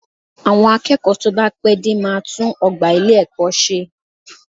Àwọn akẹ́kọ̀ọ́ tó bá pẹ́ dé máa tún ọgbà ilé-ẹ̀kọ́ ṣe